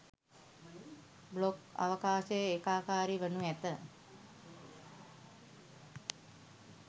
blog අවකාශය ඒකාකාරී වනු ඇත